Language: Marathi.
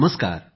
नमस्कार